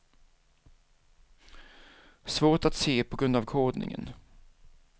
Svårt att se på grund av kodningen.